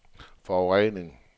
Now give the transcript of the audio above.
forurening